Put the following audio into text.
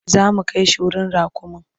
Za mu kai shi wurin raƙumin.